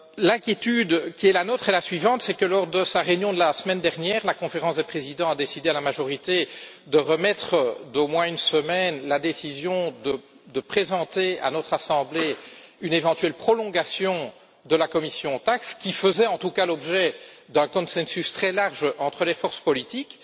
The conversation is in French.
L'inquiétude qui est la nôtre est la suivante lors de sa réunion de la semaine dernière, la Conférence des présidents a décidé, à la majorité, de reporter d'au moins une semaine la décision de présenter à notre assemblée une éventuelle prolongation de la commission Taxe, qui faisait en tout cas l'objet d'un consensus très large entre les forces politiques.